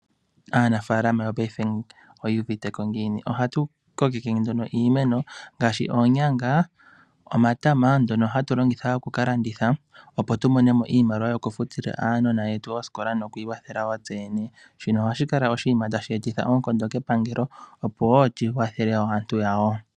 Aanafalama yongashingeyi oyu uviteko ngiini? Ohatu kokeke nduno iimeno ngaashi oonyanga, omatama ngono hatu longitha okukalanditha, opo tumome mo iimaliwa yokufutila aanona yetu oosikola nokwiikwathela wo tseyene. Shino ohadhi kala oshinima tashi eta oonkondo kepangelo opo wo lyikwathele wo aantu yawo.